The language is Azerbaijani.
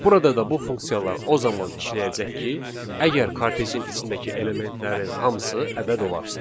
Burada da bu funksiyalar o zaman işləyəcək ki, əgər kartejin içindəki elementlərin hamısı ədəd olarsa.